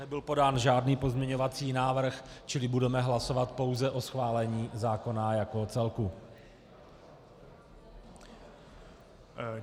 Nebyl podán žádný pozměňovací návrh, čili budeme hlasovat pouze o schválení zákona jako celku.